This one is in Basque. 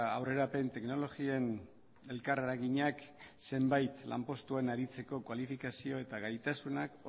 aurrerapen teknologien elkar eraginak zenbait lanpostuan aritzeko kualifikazio eta gaitasunak